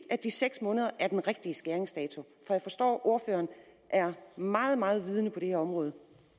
at de seks måneder præcist er den rigtige skæringsdato for jeg forstår at ordføreren er meget meget vidende på det her område